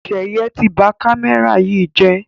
Seye tí bá kámẹ́rà yí jé